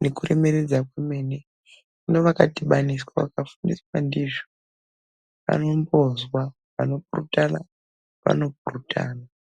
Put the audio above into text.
nekuremeredza kwemene. Hino vakadhibaniswa, vakareketerwa ndizvo vanombozwa vanopurutana vanopurutana.